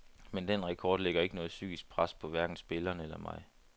Men den rekord lægger ikke noget psykisk pres på hverken spillerne eller mig.